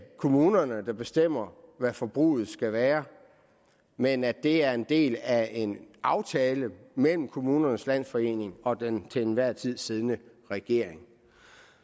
kommunerne der bestemmer hvad forbruget skal være men at det er en del af en aftale mellem kommunernes landsforening og den til enhver tid siddende regering